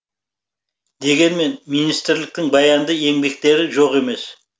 дегенмен министрліктің баянды еңбектері жоқ емес